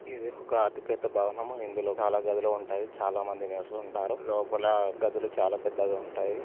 ఇది ఒక అతి పెద్ద భవనము. ఇందులో చాలా గదులు ఉంటాయి. చాలామంది నివసిస్తూ ఉంటారు . లోప--